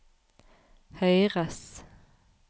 høyres